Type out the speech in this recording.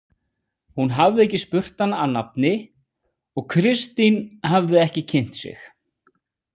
Hún hafði ekki spurt hana að nafni og Kristín hafði ekki kynnt sig.